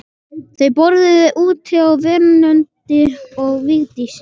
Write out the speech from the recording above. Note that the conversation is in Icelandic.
Þau borðuðu úti á veröndinni og Vigdís